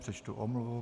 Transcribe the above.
Přečtu omluvu.